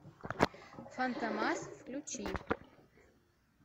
фантомас включи